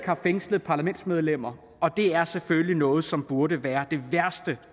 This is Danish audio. har fængslede parlamentsmedlemmer og det er selvfølgelig noget som burde være det værste